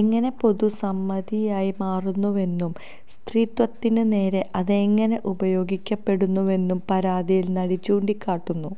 എങ്ങനെ പൊതുസമ്മിതിയായി മാറുന്നുവെന്നും സ്ത്രീത്വത്തിന് നേരെ അതെങ്ങനെ ഉപയോഗിക്കപ്പെടുന്നുവെന്നും പരാതിയില് നടി ചൂണ്ടിക്കാട്ടുന്നു